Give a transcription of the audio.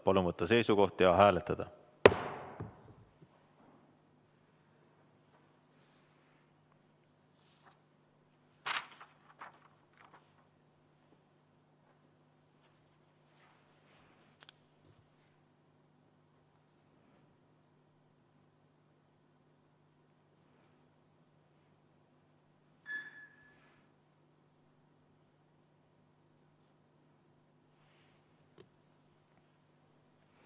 Palun võtta seisukoht ja hääletada!